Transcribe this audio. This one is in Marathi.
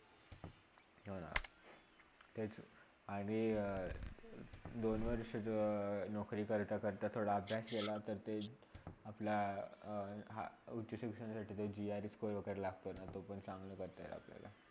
हाअं तेच आणि दोन वर्षा जेव्हा नोकरी करता - करता थोडा अभ्यास केलातर ते अपल्या हा अ उच्च शिक्षणासाठी GR score वागेरे लागताना तो पण चांगला करता येईल आपल्याला.